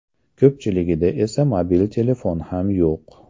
Ko‘pchiligida esa mobil telefon ham yo‘q.